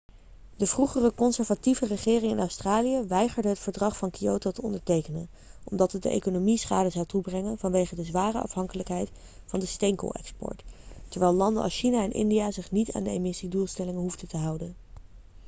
de vroegere conservatieve regering in australië weigerde het verdrag van kyoto te ondertekenen omdat het de economie schade zou toebrengen vanwege de zware afhankelijkheid van de steenkoolexport terwijl landen als china en india zich niet aan de emissiedoelstellingen hoefden te houden